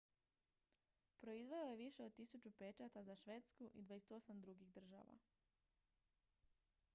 proizveo je više od 1000 pečata za švedsku i 28 drugih država